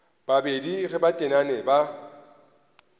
babedi ge ba tenane ba